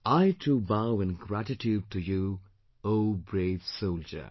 I too bow in gratitude to you O brave soldier